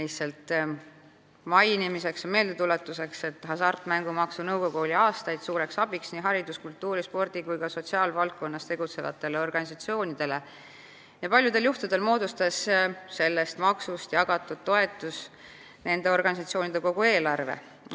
Tuletan lihtsalt meelde, et Hasartmängumaksu Nõukogu oli aastaid suureks abiks nii haridus-, kultuuri-, spordi- kui ka sotsiaalvaldkonnas tegutsevatele organisatsioonidele ja paljudel juhtudel moodustas sellest maksust jagatud toetus nende organisatsioonide kogu eelarve.